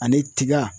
Ani tiga